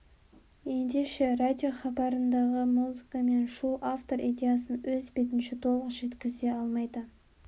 ендеше радиохабарындағы музыка мен шу автор идеясын өз бетінше толық жеткізе алмайды